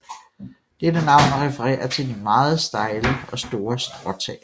Dette navn refererer til de meget stejle og store stråtag